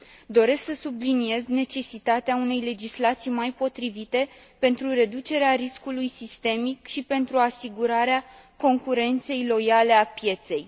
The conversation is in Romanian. Doresc să subliniez necesitatea unei legislații mai potrivite, pentru reducerea riscului sistemic și pentru asigurarea concurenței loiale a pieței.